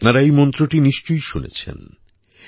আপনারা এই মন্ত্রটি নিশ্চয়ই শুনেছেন